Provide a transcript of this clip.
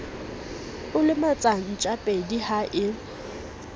o lematsa ntjapedi ha e